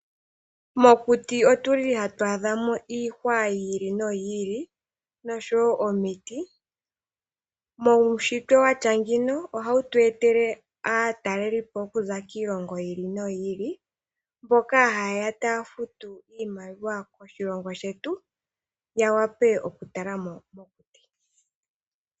Mokuti otuli hatu adhamo iihwa yi ili noyi ili, noshowo omiti. Muunshitwe watya ngeyi ohawu tu etele aatalelipo okuza kiilongo yi ili noyi ili, mboka hayeya taya futu iimaliwa koshilongo shetu, opo yawape okutalamo mokuti.